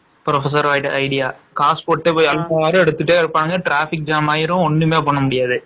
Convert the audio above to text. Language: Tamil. Professor idea காசு போட்டு போவாங்க traffic jam ஆகிரும், ஒண்ணுமே பண்ணமுடியாது.